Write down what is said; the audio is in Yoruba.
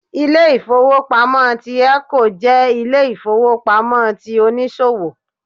Ilé-ìfowópamọ́ ti 'Eco' jẹ́ Ilé-ìfowópamọ́ ti oníṣòwò